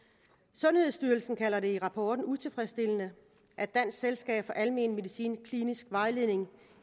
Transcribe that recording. sundhedsstyrelsen kalder det i rapporten utilfredsstillende at dansk selskab for almen medicins kliniske vejledning